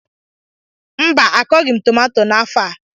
Mba, a kọghị m tomato n'áfọ̀ a